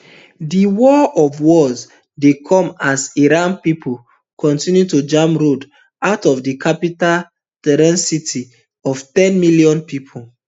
di war of words dey come as iran pipo kontinu to jam roads out of di capital tehran city of ten million pipo